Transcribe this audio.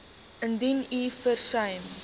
indien u versuim